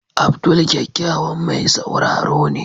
Abdul kyakkyawan mai sauraro ne.